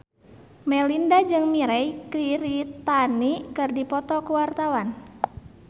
Melinda jeung Mirei Kiritani keur dipoto ku wartawan